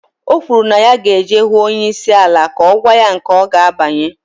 Okwuru na ya ga eje huu onye isi ala ka ogwa ya nke oga abanye.